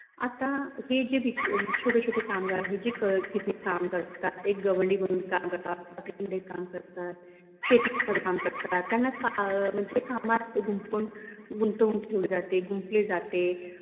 आता हे जे बीच छोटे छोटे कामगार आहे. जे शेतीमध्ये काम करत त्यांना अह म्हनजे कामात गवंडी कामात गुंफून गुंतवून ठेवलं जाते गुंफले जाते